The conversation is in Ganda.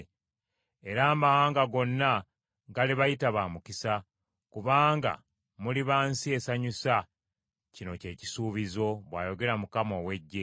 “Era amawanga gonna galibayita ba mukisa: kubanga muliba nsi esanyusa, kino ky’ekisuubizo,” bw’ayogera Mukama ow’Eggye.